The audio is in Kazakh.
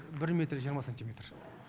бір метр жиырма сантиметр